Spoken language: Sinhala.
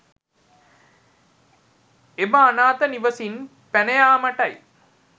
එම අනාත නිවසින් පැනයාමටයි